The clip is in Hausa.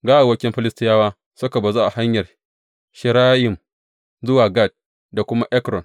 Gawawwakin Filistiyawa suka bazu a hanyar Sha’arayim zuwa Gat da kuma Ekron.